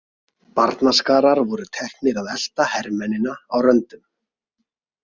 Barnaskarar voru teknir að elta hermennina á röndum.